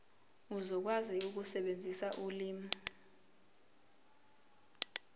uzokwazi ukusebenzisa ulimi